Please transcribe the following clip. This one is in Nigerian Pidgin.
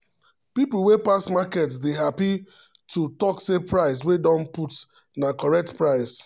people wey pass market dey happy to um talk say price wey dem put na correct price. um